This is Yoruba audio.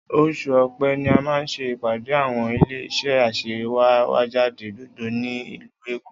Oṣù Ọ̀pẹ ni a máa ṣe ìpàdé àwọn ilé-iṣẹ́ aṣèwéjádé gbogbo ní ìlú Èkó.